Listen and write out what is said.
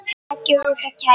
Takið út og kælið.